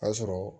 A sɔrɔ